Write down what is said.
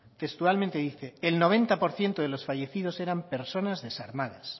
textualmente dice el noventa por ciento de los fallecidos eran personas desarmadas